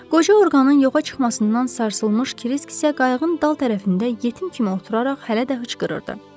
Qoca orqanın yoxa çıxmasından sarsılmış Kirisk isə qayığın dal tərəfində yetim kimi oturaraq hələ də hıçqırırdı.